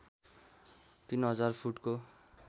३००० फुटको